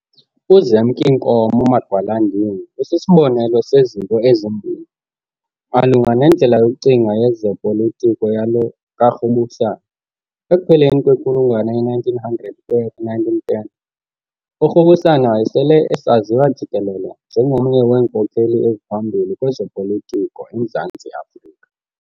UZemk'Inkomo Magwalandini usisibonelo sezinto ezimbini, malunga nendlela yokucinga yezepolitiki yalo kaRubusana. Ekupheleni kwenkulungwane ye-1900 ukuya ku-1910, uRubusana wayesele esaziwa jikelele njengomnye weenkokheli eziphambili kwezopolitiko eMzantsi Afrika.